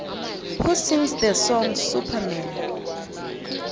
who sings the song superman